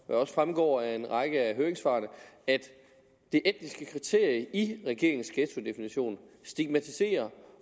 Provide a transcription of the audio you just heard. også fremgår af en række af høringssvarene at det etniske kriterium i regeringens ghettodefinition stigmatiserer